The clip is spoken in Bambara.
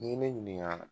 N'i ye ne ɲininka